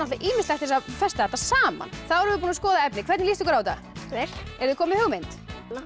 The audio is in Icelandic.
ýmislegt til þess að festa þetta saman þá erum við búin að skoða efnið hvernig líst ykkur á þetta vel eruð þið komin með hugmynd nokkurn